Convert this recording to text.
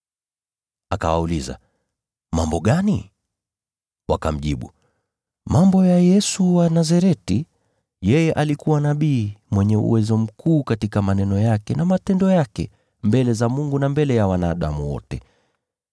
Akawauliza, “Mambo gani?” Wakamjibu, “Mambo ya Yesu wa Nazareti. Yeye alikuwa nabii, mwenye uwezo mkuu katika maneno yake na matendo yake, mbele za Mungu na mbele ya wanadamu wote.